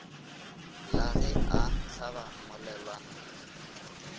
la ge e hlaba mmolelwana